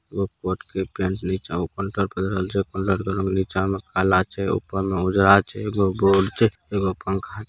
एगो कोट के पैंट नीचा में काला छै ऊपर में उजरा छै एगो बोर्ड छै एगो पंखा --